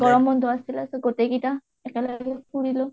গৰম বন্ধ আছিলে so গোটেই কেইটা একেলগে ফুৰিলোঁ